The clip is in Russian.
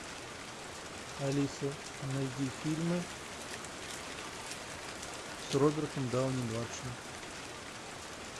алиса найди фильмы с робертом дауни младшим